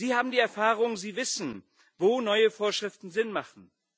Sie haben die Erfahrung, sie wissen, wo neue Vorschriften Sinn machen.